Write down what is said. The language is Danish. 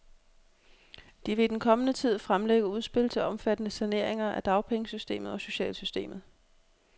De vil i den kommende tid fremlægge udspil til omfattende saneringer af dagpengesystemet og socialsystemet.